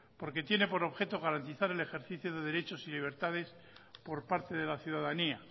porque tiene por objeto garantizar el ejercicio de derechos y libertades por parte de la ciudadanía